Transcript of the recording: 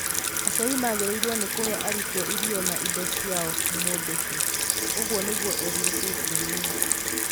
Aciari magĩrĩirwo nĩ kũhe arutwo irio na indo cia o mũndũ tu", ũguo nĩguo eerire KTN News.